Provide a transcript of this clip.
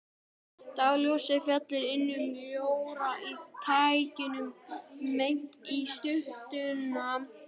Dagsljósið féll inn um ljóra á þakinu beint á styttuna.